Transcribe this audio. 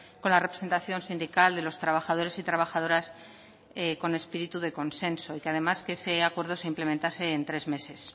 con la representación sindical de los trabajadores y trabajadoras con espíritu de consenso y que además que ese acuerdo se implementase en tres meses